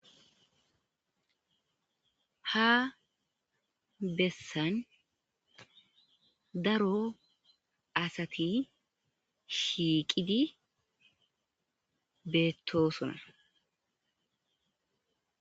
Ha besan daro asati shiiqid betosona